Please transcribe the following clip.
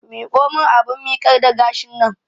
Miƙo mun abun miƙar da gashin nan!